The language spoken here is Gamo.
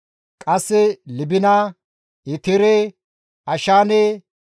Qasse Libina, Eteere, Ashaane,